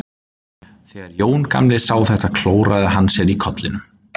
Þegar Jón gamli sá þetta klóraði hann sér í kollinum.